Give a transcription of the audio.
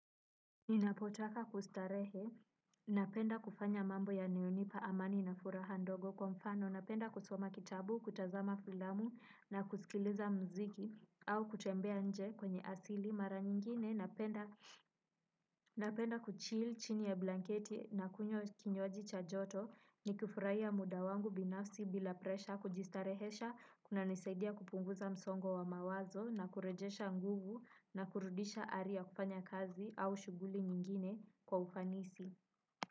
Ninapotaka kustarehe, napenda kufanya mambo yanayonipa amani na furaha ndogo kwa mfano, napenda kusoma kitabu, kutazama filamu na kusikiliza muziki au kutembea nje kwenye asili. Mara nyingine napenda kuchill chini ya blanketi na kunywa kinywaji cha joto ni kufurahia muda wangu binafsi bila presha kujistarehesha kunanisaidia kupunguza msongo wa mawazo na kurejesha nguvu na kurudisha ari ya kufanya kazi au shughuli nyingine kwa ufanisi.